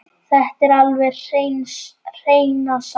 Þetta er alveg hreina satt!